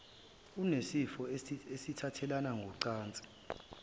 unesifo esithathelana ngocansi